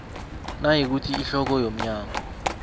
nayikuthi ihloko yomnyango